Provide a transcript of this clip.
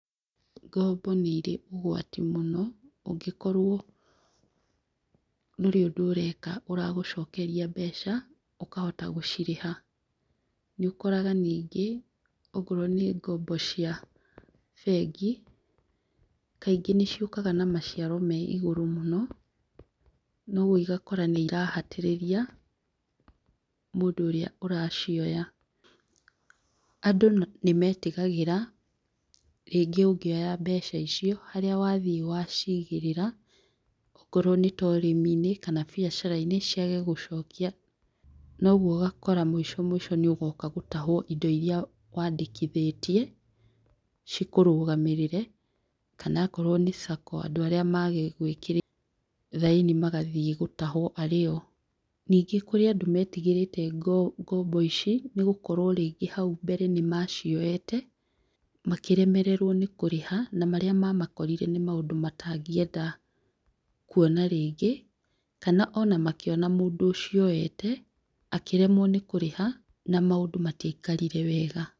Ngombo nĩ irĩ ũgwati mũno, ũngĩkorwo ndũrĩ ũndũ ũreka ũragũcokeria mbeca ũkahota gũcirĩha. Nĩ ũkoraga nĩngĩ okorwo nĩ ngombo cia bengi, kaingĩ nĩ ciũkaga na maciaro me igũrũ mũno, noguo ũgakũra nĩ irahatĩrĩria mũndũ ũrĩa ũracioya. Andũ nĩ metigagĩra rĩngĩ ũngĩoya mbeca icio, harĩa wathiĩ wacigĩrĩra okorwo nĩ ta ũrĩmi-inĩ kana biacara-inĩ ciage gũcokia, noguo ũgakora mũico mũico nĩ ũgoka gũtahwo indo iria wandĩkithĩtie cikũrũgamĩrĩre kana okorwo nĩ Sacco andũ arĩa magĩgwĩkĩrĩire thaĩni magathiĩ gũtahwo arĩ o. Ningĩ kũrĩ andũ metigĩrĩte ngombo ici, nĩ gũkorwo rĩngĩ hau mbere nĩ macioete makĩremererwo nĩ kũrĩha na marĩa mamakorire nĩ maũndũ matangĩenda kwona rĩngĩ, kana ona makĩona mũndũ ũcio oete akĩremwo nĩ kũrĩha na maũndũ matiakarire wega.